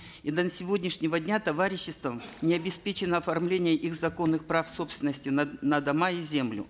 и до сегодняшнего дня товариществом не обеспечено оформление их законных прав собственности на на дома и землю